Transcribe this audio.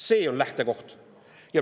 See on lähtekoht.